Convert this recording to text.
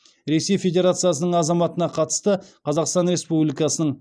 ресей федерациясының азаматына қатысты қазақстан республикасының